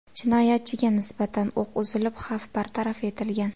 Jinoyatchiga nisbatan o‘q uzilib, xavf bartaraf etilgan.